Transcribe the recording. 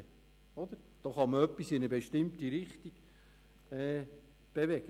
Damit kann man etwas in eine bestimmte Richtung bewegen.